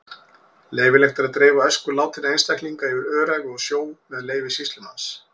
Leyfilegt er að dreifa ösku látinna einstaklinga yfir öræfi og sjó með leyfi sýslumanns.